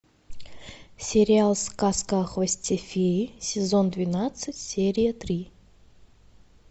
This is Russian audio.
сериал сказка о хвосте феи сезон двенадцать серия три